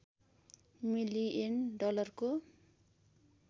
million डलरको